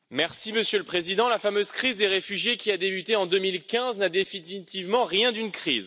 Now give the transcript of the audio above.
Monsieur le Président, la fameuse crise des réfugiés qui a débuté en 2015 n'a définitivement rien d'une crise.